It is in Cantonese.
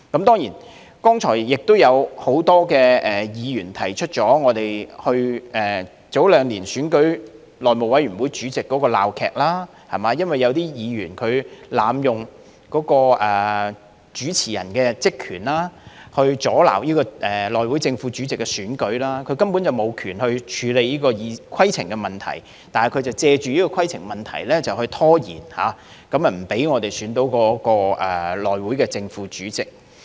當然，剛才也有很多議員提到，早兩年選舉內務委員會主席的鬧劇，因為有議員濫用主持人的職權，阻撓內會正副主席的選舉，他根本無權處理規程的問題，但卻藉着規程問題拖延，不讓我們選出內會正副主席。